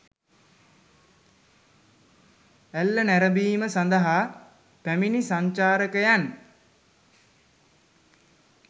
ඇල්ල නැරඹීම සඳහා පැමිණි සංචාරකයන්